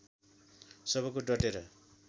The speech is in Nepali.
सबको डटेर